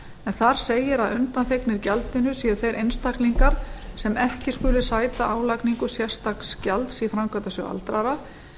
en þar segir að undanþegnir gjaldinu séu þeir einstaklingar sem ekki skuli sæta álagningu sérstaks gjalds í framkvæmdasjóð aldraðra